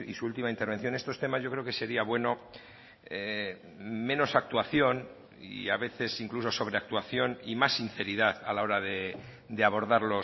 su última intervención estos temas yo creo que sería bueno menos actuación y a veces incluso sobreactuación y más sinceridad a la hora de abordar